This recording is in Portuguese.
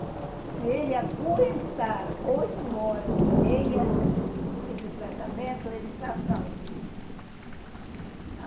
Se ele aguentar oito horas e meia esse tratamento, ele está salvo.